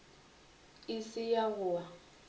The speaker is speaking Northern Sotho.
e se ya go wa